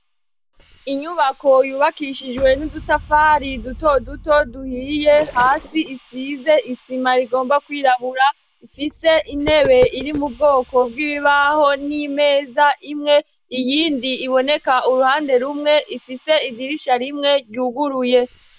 Inyubako yubakishijwe n'udutafari duto duto duhiye hasi isize isima rigomba kwirabura ifise intebe iri mu bwoko bw'ibibaho n'imeza imwe iyindi iboneka uruhande rumwe ifise idirisha rimwe ryuguruye.